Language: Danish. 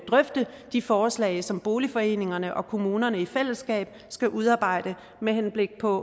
drøfte de forslag som boligforeningerne og kommunerne i fællesskab skal udarbejde med henblik på